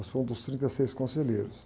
Eu sou um dos trinta e seis conselheiros.